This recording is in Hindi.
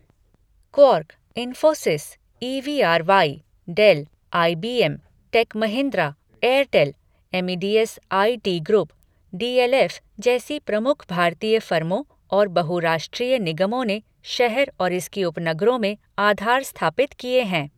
Quark, Infosys, E V R Y , Dell, I B M , Tech Mahindra, Airtel, Amadeus I T Group, D L F. जैसी प्रमुख भारतीय फर्मों और बहुराष्ट्रीय निगमों ने शहर और इसके उपनगरों में आधार स्थापित किए हैं।